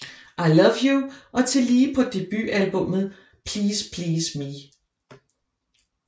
I Love You og tillige på debutalbummet Please Please Me